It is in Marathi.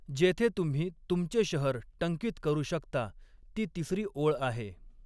जेथे तुम्ही तुमचे शहर टंकित करू शकता, ती तिसरी ओळ आहे.